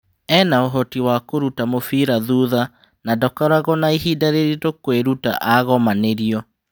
"Ena ũhoti wa kũruta mũbira thutha na ndakoragwo na ihinda rĩritũ kũĩruta agomanĩrio.